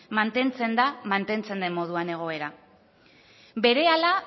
mantentzen da mantentzen den moduan egoera berehala